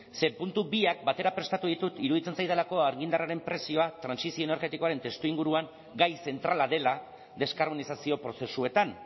ze puntu biak batera prestatu ditut iruditzen zaidalako argindarraren prezioa trantsizio energetikoaren testuinguruan gai zentrala dela deskarbonizazio prozesuetan